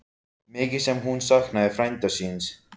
Mikið sem hún saknaði frænda síns.